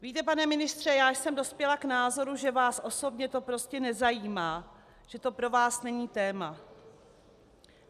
Víte, pane ministře, já jsem dospěla k názoru, že vás osobně to prostě nezajímá, že to pro vás není téma.